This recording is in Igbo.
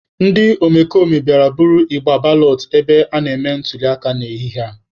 Ndị omekome bịara buru igbe balọt ebe a na-eme ntuliaka n'ehihie a.